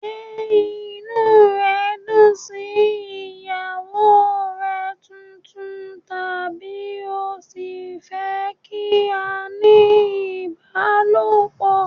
Ṣé inú rẹ dùn sí ìyàwó rẹ tuntun tàbí o ṣì fẹ́ kí a ní ìbálòpọ̀?